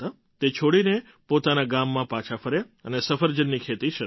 તે છોડીને પોતાનાં ગામ પાછાં ફર્યાં અને સફરજનની ખેતી શરૂ કરી